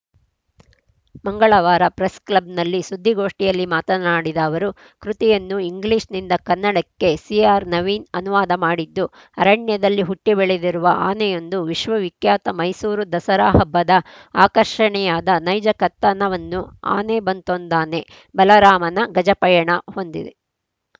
ಮಂಗಳವಾರ ಪ್ರೆಸ್‌ಕ್ಲಬ್‌ನಲ್ಲಿ ಸುದ್ದಿಗೋಷ್ಠಿಯಲ್ಲಿ ಮಾತನಾಡಿದ ಅವರು ಕೃತಿಯನ್ನು ಇಂಗ್ಲಿಷ್‌ನಿಂದ ಕನ್ನಡಕ್ಕೆ ಸಿಆರ್‌ ನವೀನ್‌ ಅನುವಾದ ಮಾಡಿದ್ದು ಅರಣ್ಯದಲ್ಲಿ ಹುಟ್ಟಿಬೆಳೆದಿರುವ ಆನೆಯೊಂದು ವಿಶ್ವವಿಖ್ಯಾತ ಮೈಸೂರು ದಸರಾ ಹಬ್ಬದ ಆಕರ್ಷಣೆಯಾದ ನೈಜ ಕಥನವನ್ನು ಆನೆ ಬಂತೊಂದಾನೆ ಬಲರಾಮನ ಗಜಪಯಣ ಹೊಂದಿದೆ